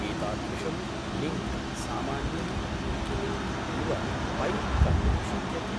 एतादृशं लिङ्क् सामान्यं विकिलिङक् इव पैप् कर्तुं शक्यते।